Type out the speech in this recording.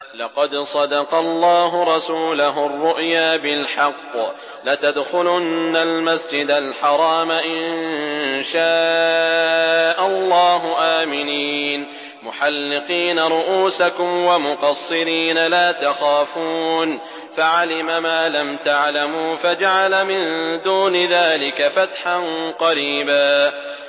لَّقَدْ صَدَقَ اللَّهُ رَسُولَهُ الرُّؤْيَا بِالْحَقِّ ۖ لَتَدْخُلُنَّ الْمَسْجِدَ الْحَرَامَ إِن شَاءَ اللَّهُ آمِنِينَ مُحَلِّقِينَ رُءُوسَكُمْ وَمُقَصِّرِينَ لَا تَخَافُونَ ۖ فَعَلِمَ مَا لَمْ تَعْلَمُوا فَجَعَلَ مِن دُونِ ذَٰلِكَ فَتْحًا قَرِيبًا